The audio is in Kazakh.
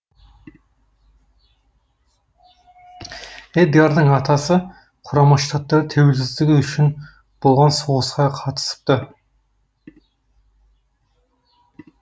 эдгардың атасы құрама штаттар тәуелсіздігі үшін болған соғысқа қатысыпты